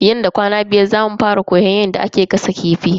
Nan da kwana biyar zamu fara koyan yadda ake gasa kifi.